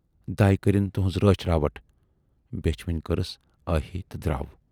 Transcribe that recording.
""دَے کٔرٕنۍ تُہٕنز رٲچھ رٲوَٹھ" بیچھِ وٕنۍ کٔرٕس ٲہی تہٕ دراو۔